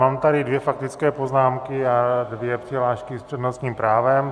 Mám tady dvě faktické poznámky a dvě přihlášky s přednostním právem.